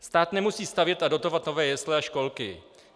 Stát nemusí stavět a dotovat nové jesle a školky.